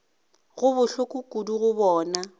go bohloko kudu go bona